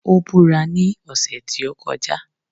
Ó búra ní ọ̀sẹ̀ tí ó kọjá